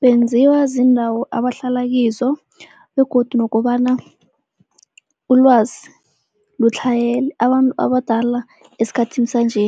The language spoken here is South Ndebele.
Benziwa ziindawo abahlala kizo begodu nokobana ulwazi lutlhayele. Abantu abadala esikhathini sanje